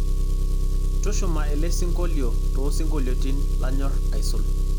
tushuma elesingolio toosingolioitin lanyor aisul